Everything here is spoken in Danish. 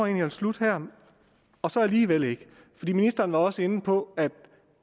jeg vil slutte her og så alligevel ikke ministeren var også inde på at